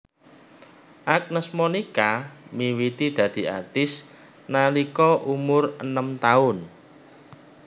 Agnes Monica miwiti dadi artis nalika umur enem taun